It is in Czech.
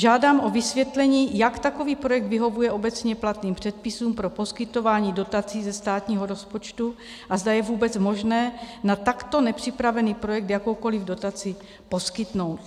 Žádám o vysvětlení, jak takový projekt vyhovuje obecně platným předpisům pro poskytování dotací ze státního rozpočtu a zda je vůbec možné na takto nepřipravený projekt jakoukoliv dotaci poskytnout.